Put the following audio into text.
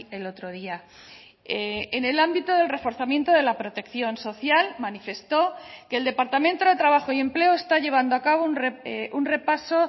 el otro día en el ámbito del reforzamiento de la protección social manifestó que el departamento de trabajo y empleo está llevando a cabo un repaso